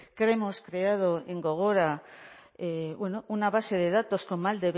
que hemos creado en gogora una base de datos con